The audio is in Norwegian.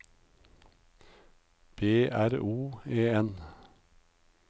B R O E N